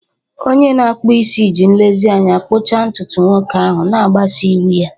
Onye na-akpụ isi ji nlezianya kpụchaa ntutu nwoke ahụ, na-agbaso iwu ya.